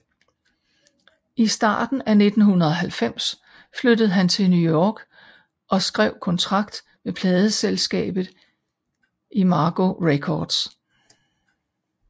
I starten af 1990 flyttede han til New York og skrev kontrakt med pladsselskabet Imago Records